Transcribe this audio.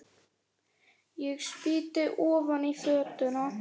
Ég spýti ofan í fötuna.